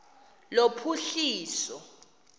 lophuhliso